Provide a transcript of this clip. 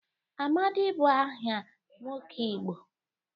Amadị bụ aha nwoke Igbo.